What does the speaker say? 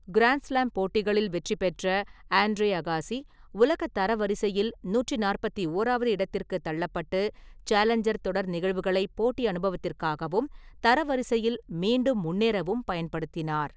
Grand slam போட்டிகளில் வெற்றி பெற்ற ஆண்ட்ரே அகாசி, உலக தரவரிசையில் நூற்றி நாற்பத்தி ஓராவது இடத்திற்குத் தள்ளப்பட்டு, சேலஞ்சர் தொடர் நிகழ்வுகளை போட்டி அனுபவத்திற்காகவும், தரவரிசையில் மீண்டும் முன்னேறவும் பயன்படுத்தினார்.